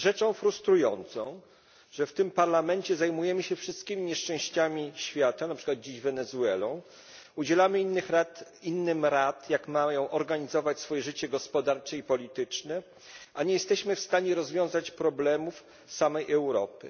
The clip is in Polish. Jest rzeczą frustrującą, że w tym Parlamencie zajmujemy się wszystkimi nieszczęściami świata, np. dzisiaj Wenezuelą, udzielamy innym rad, jak mają organizować swoje życie gospodarcze i polityczne, a nie jesteśmy w stanie rozwiązać problemów samej Europy.